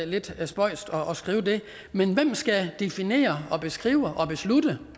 lidt spøjst men hvem skal definere og beskrive og beslutte